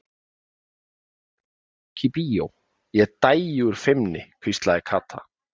Aldrei mundi ég fara með strák í bíó, Ég dæi úr feimni hvíslaði Kata.